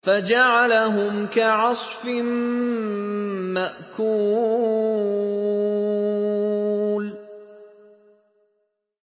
فَجَعَلَهُمْ كَعَصْفٍ مَّأْكُولٍ